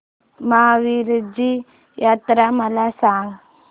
महावीरजी जत्रा मला सांग